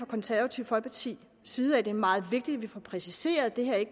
konservative folkepartis side at det er meget vigtigt at vi får præciseret at det her